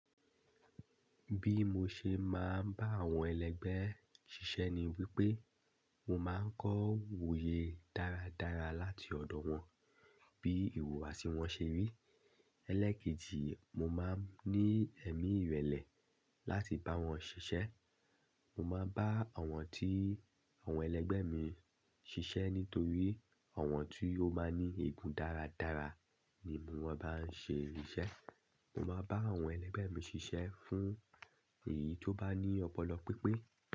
Bí mo ṣe máa ń bá àwọn ẹlẹgbẹ́ ṣiṣẹ́ ni wípé, mo máa ń kọ́ wòye dáradára láti ọ̀dọ̀ wọn bí ìhùwàsí wọn ṣe rí. Elékìjì, mo máa ń ní ẹ̀mí ìrẹ̀lẹ̀ láti bá wọn ṣiṣẹ́. Mo máa bá àwọn tí àwọn ẹlẹgbẹ́ mi ń ṣiṣẹ́ nítorí àwọn tí ó máa ń ní igun dáradára ni mo máa bá ń ṣe ìṣe. Mo máa bá àwọn ẹlẹgbẹ́ mi ṣiṣẹ́ fún èyí tó bá ní ọpọlọ pípé.